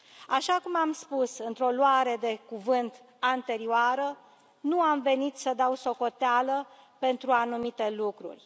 Așa cum am spus într o luare de cuvânt anterioară, nu am venit să dau socoteală pentru anumite lucruri.